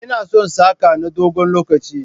Ina son saka na dogon lokaci.